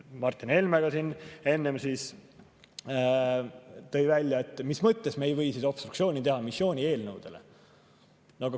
Martin Helme tõi siin enne välja, et mis mõttes ei või obstruktsiooni teha missioonieelnõude puhul.